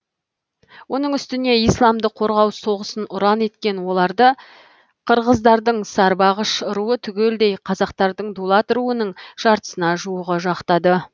оның үстіне исламды қорғау соғысын ұран еткен оларды қырғыздардың сарбағыш руы түгелдей қазақтардың дулат руының жартысына жуығы жақтады